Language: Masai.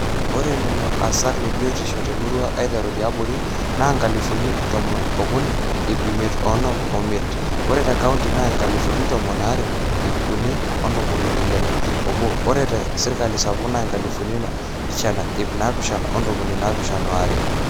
ore lelo aasak lebiotishu temurrua aiterru tiaborri naa inkalifuni tomon ookuni ip imiet oonom oimiet, ore te county naa inkalifuni tomon aare ip uni ontomoni ile oobo ore te sirkali sapuk naa inkalifuni naapishana ip naapishana o ntomoni naapishana oare